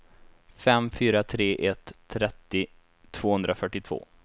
fem fyra tre ett trettio tvåhundrafyrtiotvå